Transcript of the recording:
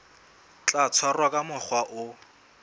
tla tshwarwa ka mokgwa o